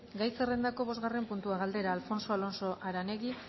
gai zerrendako bosgarren puntua galdera alfonso alonso aranegui